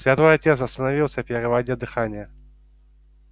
святой отец остановился переводя дыхание